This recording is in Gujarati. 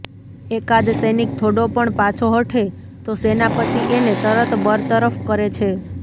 એકાદ સૈનિક થોડો પણ પાછો હઠે તો સેનાપતિ એને તરત બરતરફ કરે છે